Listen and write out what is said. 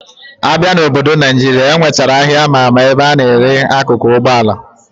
Abia na obodo Naijira, enwechara aha ama ama ebe ana ele akụkụ Ụgbọ ala